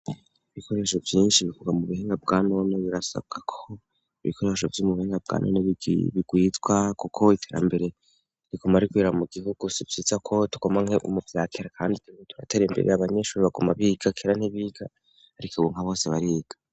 Ibikoresho byinshi bivugwa mu buhenga bwanone birasabwa ko ibikoresho by'umubuhinga bwa none bigwitwa kuko iterambere rikoma rikwira mu gihugu sipyitsa ko tukoma nke umubyakera kandi tirbe turatera imbere abanyeshuri bakoma bigakera nt'ibiga ariko ibunka bose bariga.